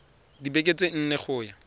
dibekeng tse nne go ya